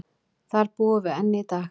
Þar búum við enn í dag.